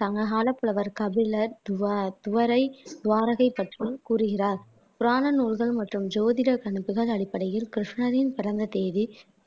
சங்ககால புலவர் கபிலர் துவா துவரை துவாரகை பற்றி கூறுகிறார் புராண நூல்கள் மற்றும் ஜோதிட கணிப்புகள் அடிப்படையில் கிருஷ்ணரின் பிறந்த தேதி